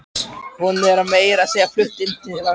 Hún er meira að segja flutt inn til hans.